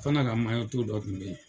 O fana ka maɲɔtu dɔ kun be yen.